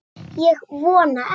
Ég vona ekki